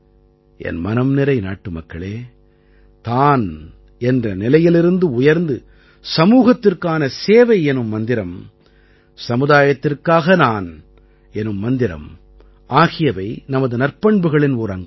என் மனம் நிறை நாட்டுமக்களே தான் என்ற நிலையிலிருந்து உயர்ந்து சமூகத்திற்கான சேவை எனும் மந்திரம் சமுதாயத்திற்காக நான் எனும் மந்திரம் ஆகியவை நமது நற்பண்புகளின் ஓர் அங்கம்